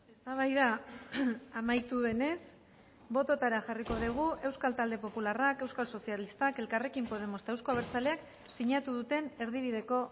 eztabaida amaitu denez bototara jarriko dugu euskal talde popularrak euskal sozialistak elkarrekin podemos eta euzko abertzaleak sinatu duten erdibideko